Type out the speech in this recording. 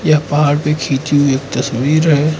पहाड़ पे खींची हुई तस्वीर है।